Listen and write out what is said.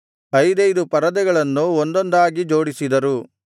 ಐದೈದು ಪರದೆಗಳನ್ನು ಒಂದೊಂದಾಗಿ ಜೋಡಿಸಿದರು